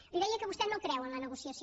li deia que vostè no creu en la negociació